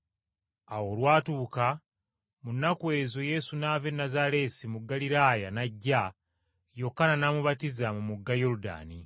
Awo olwatuuka mu nnaku ezo Yesu n’ava e Nazaaleesi mu Ggaliraaya n’ajja, Yokaana n’amubatiza mu mugga Yoludaani.